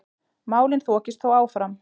Málin þokist þó áfram.